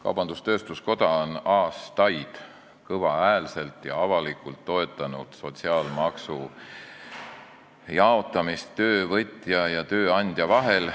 Kaubandus-tööstuskoda on aastaid kõvahäälselt ja avalikult toetanud sotsiaalmaksu jaotamist töövõtja ja tööandja vahel.